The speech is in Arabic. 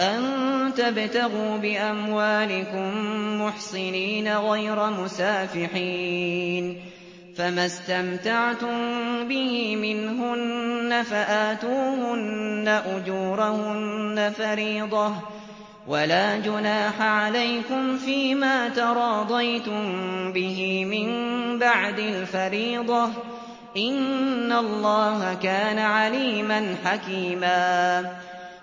أَن تَبْتَغُوا بِأَمْوَالِكُم مُّحْصِنِينَ غَيْرَ مُسَافِحِينَ ۚ فَمَا اسْتَمْتَعْتُم بِهِ مِنْهُنَّ فَآتُوهُنَّ أُجُورَهُنَّ فَرِيضَةً ۚ وَلَا جُنَاحَ عَلَيْكُمْ فِيمَا تَرَاضَيْتُم بِهِ مِن بَعْدِ الْفَرِيضَةِ ۚ إِنَّ اللَّهَ كَانَ عَلِيمًا حَكِيمًا